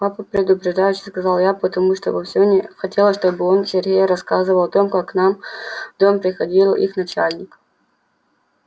папа предупреждающе сказала я потому что вовсе не хотела чтобы он сергею рассказывал о том как к нам в дом приходил их начальник